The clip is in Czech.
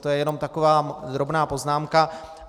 To je jenom taková drobná poznámka.